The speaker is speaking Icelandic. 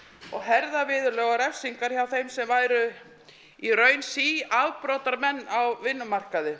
og herða viðurlög og refsingar hjá þeim sem væru í raun síafbrotamenn á vinnumarkaði